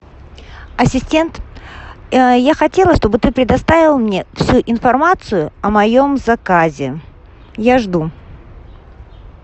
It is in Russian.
ассистент я хотела чтобы ты предоставил мне всю информацию о моем заказе я жду